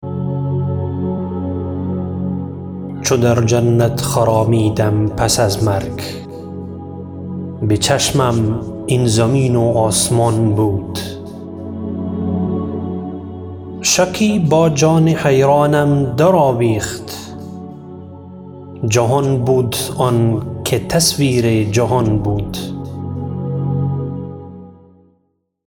چو در جنت خرامیدم پس از مرگ به چشمم این زمین و آسمان بود شکی با جان حیرانم در آویخت جهان بود آن که تصویر جهان بود